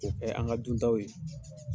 Nin bɛ yen an ka dun taw ye